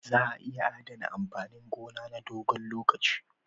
Za a iya adana amfanin gona na dogon lokaci